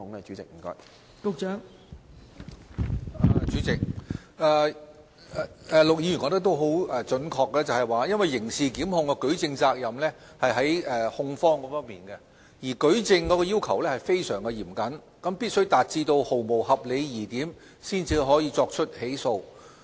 代理主席，陸議員準確指出，刑事檢控的舉證責任在於控方，而舉證的要求亦非常嚴謹，必須達至毫無合理疑點才能作出起訴。